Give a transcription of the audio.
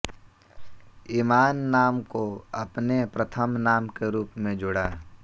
ईमान नाम को अपने प्रथम नाम के रूप में जोड़ा